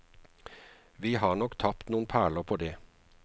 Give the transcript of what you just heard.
Vi har nok tapt noen perler på det.